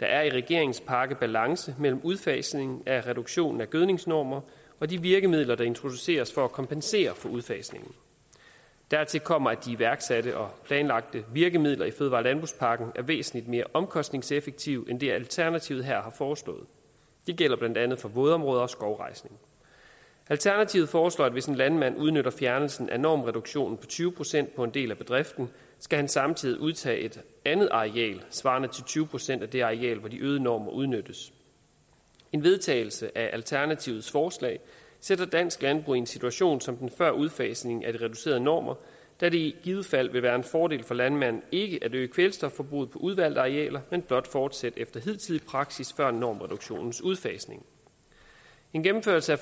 der er i regeringens pakke balance mellem udfasningen af reduktionen af gødningsnormer og de virkemidler der introduceres for at kompensere for udfasningen dertil kommer at de iværksatte og planlagte virkemidler i fødevare og landbrugspakken er væsentlig mere omkostningseffektive end det alternativet her har foreslået det gælder blandt andet for vådområder og skovrejsning alternativet foreslår at hvis en landmand udnytter fjernelsen af normreduktionen på tyve procent på en del af bedriften skal han samtidig udtage et andet areal svarende til tyve procent af det areal hvor de øgede normer udnyttes en vedtagelse af alternativets forslag sætter dansk landbrug i en situation som den før udfasningen af de reducerede normer da det i givet fald vil være en fordel for landmanden ikke at øge kvælstofforbruget på udvalgte arealer men blot fortsætte efter hidtidig praksis før normreduktionens udfasning en gennemførelse af